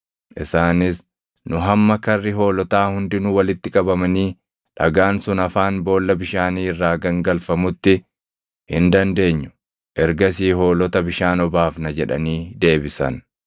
Isaanis, “Nu hamma karri hoolotaa hundinuu walitti qabamanii dhagaan sun afaan boolla bishaanii irraa gangalfamutti hin dandeenyu; ergasii hoolota bishaan obaafna” jedhanii deebisan.